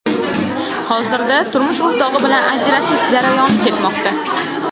Hozirda turmush o‘rtog‘i bilan ajrashish jarayoni ketmoqda.